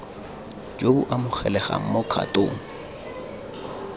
jo bo amogelegang mo kgatong